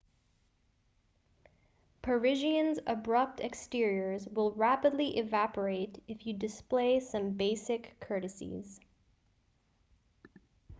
parisians' abrupt exteriors will rapidly evaporate if you display some basic courtesies